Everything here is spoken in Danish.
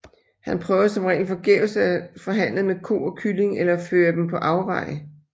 Han prøver som regel forgæves at forhandle med Ko og Kylling eller føre dem på afveje